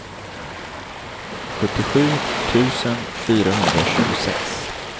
sjuttiosju tusen fyrahundratjugosex